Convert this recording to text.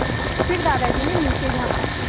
फिर दादाजी ने नीचे झाँका